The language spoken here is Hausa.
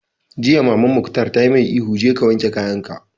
Jiya Maman Mukhtar ta mai ihu 'Je ka wanke kayan ka'!